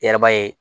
I yɛrɛ b'a ye